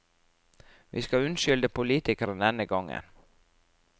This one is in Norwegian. Vi skal unnskylde politikerne denne gangen.